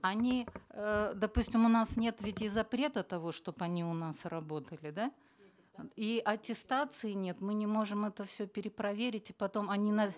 они э допустим у нас нет ведь и запрета того чтобы они у нас работали да и аттестации нет мы не можем это все перепроверить потом они на